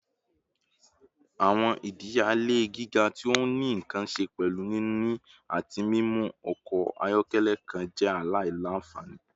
Awọn idiyele giga ti o ni nkan ṣe pẹlu nini ati mimu ọkọ ayọkẹlẹ kan jẹ alailanfani